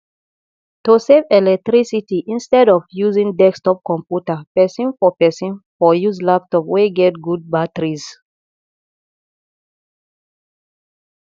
to save electricity instead of using desktop computer person for person for use laptop wey get good batteries